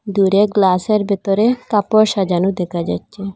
দূরে গ্লাসের ভেতরে কাপড় সাজানো দেখা যাচ্ছে।